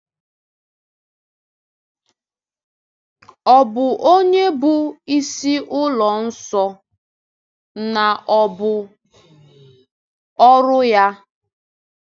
Ọ̀ bụ onye bụ “isi ụlọ nsọ,” na ọ̀ bụ ọrụ ya?